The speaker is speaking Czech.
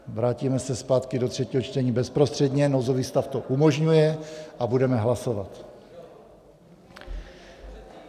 Vrátíme se zpátky do třetího čtení bezprostředně - nouzový stav to umožňuje - a budeme hlasovat.